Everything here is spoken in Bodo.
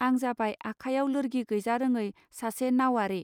आं जाबाय आखायाव लोर्गि गैजारोङै सासे नाउवारि